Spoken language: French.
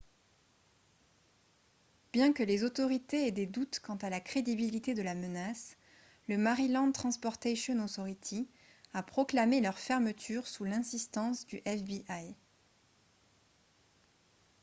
bien que les autorités aient des doutes quant à la crédibilité de la menace le maryland transportation authority a proclamé leur fermeture sous l'insistance du fbi